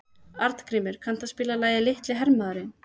Arngrímur, kanntu að spila lagið „Litli hermaðurinn“?